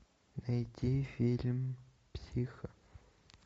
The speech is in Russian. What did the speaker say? найти фильм психо